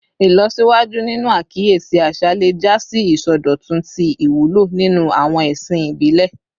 Ilọsiwaju ninu akiyesi aṣa le ja si isọdọtun ti iwulo ninu awọn ẹsin ibile